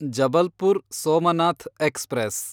Jabalpur Somnath express